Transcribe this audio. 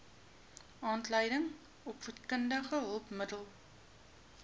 aanlyn opvoedkundige hulpmiddele